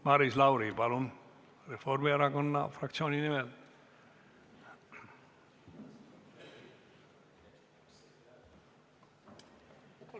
Maris Lauri Reformierakonna fraktsiooni nimel, palun!